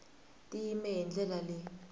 ti yime hi ndlela leyi